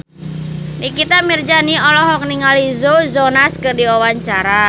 Nikita Mirzani olohok ningali Joe Jonas keur diwawancara